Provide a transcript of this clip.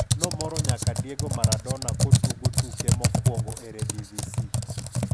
nomoro nyaka Diego Maradona kotugo tuke mokwongo Eredivisie.